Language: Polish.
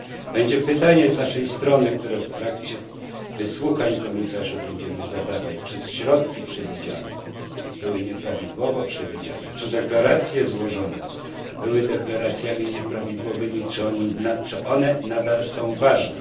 Będzie pytanie z naszej strony, które w trakcie wysłuchań komisarzy będziemy zadawać czy środki przewidziane były nieprawidłowo przewidziane, czy deklaracje złożone były deklaracjami nieprawidłowymi, czy one nadal są ważne?